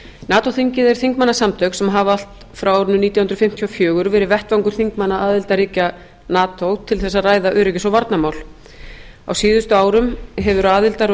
nato þingið eru þingmannasamtök sem hafa allt frá árinu nítján hundruð fimmtíu og fjögur verið vettvangur þingmanna aðildarríkja nato til þess að ræða öryggis og varnarmál á síðustu árum hefur aðildar